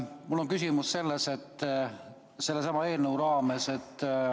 Mul on selline küsimus sellesama eelnõu raames.